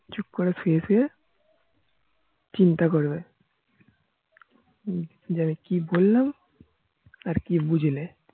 চুপ করে শুয়ে শুয়ে চিন্তা করবে যে আমি কি বললাম আর কি বুঝলে